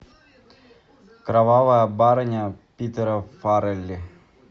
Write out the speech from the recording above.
кровавая барыня питера фаррелли